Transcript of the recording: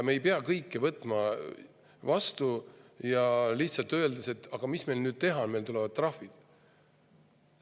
Me ei pea kõike vastu võtma, öeldes, et aga mis meil teha on, meile tulevad trahvid.